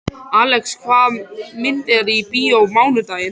Alex, hvaða myndir eru í bíó á mánudaginn?